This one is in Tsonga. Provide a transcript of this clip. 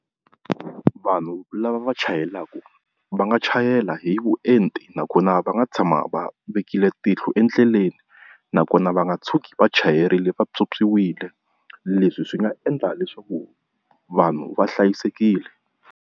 Vanhu lava va chayelaka va nga chayela hi vuenti nakona va nga tshama va vekile tihlo endleleni, nakona va nga tshuki vachayerile va pyopyiwile leswi swi nga endla leswaku vanhu va hlayisekile.